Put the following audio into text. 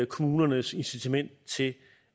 kommunernes incitament til